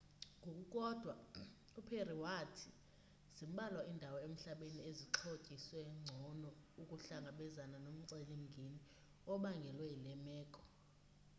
ngokukodwa uperry wathi zimbalwa iindawo emhlabeni ezixhotyiswe ngcono ukuhlangabezana nomceli mngeni obangelwe yile meko